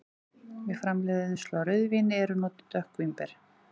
Við framleiðslu á rauðvíni eru notuð dökk vínber.